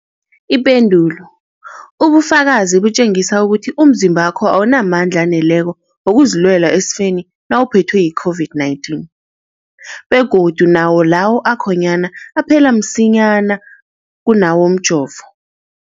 Ipendulo, ubufakazi butjengisa ukuthi umzimbakho awunamandla aneleko wokuzilwela esifeni nawuphethwe yi-COVID-19, begodu nawo lawo akhonyana aphela msinyana kunawomjovo.